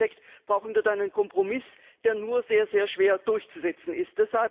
Und im Endeffekt brauchen wir dann einen Kompromiss, der nur sehr schwer durchzusetzen ist.